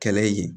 Kɛlɛ ye